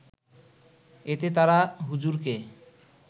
এতে তারা হুজুরকে